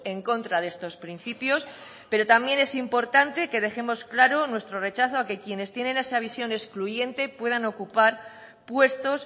en contra de estos principios pero también es importante que dejemos claro nuestro rechazo a que quienes tienen esa visión excluyente puedan ocupar puestos